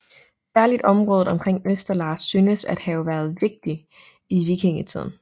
Særligt området omkring Østerlars synes at have været vigtigt i vikingetiden